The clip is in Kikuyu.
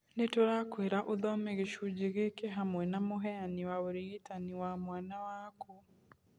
Nĩ tũrakwĩra ũthome gĩcunjĩ gĩkĩ hamwe na mũheani wa ũrigitani wa mwana waku.